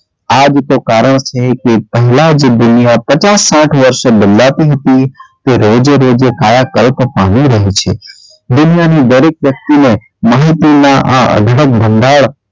આ જ તો કારણ છે કે પહેલાં જે દુનિયા પચાસ સાઠ વર્ષે બદલાતી હતી તે રોજે રોજે કાયા પલટ પામી રહી છે દુનિયાની દરેક વ્યક્તિને માહિતીના આ અઢળક આ ભંડાર,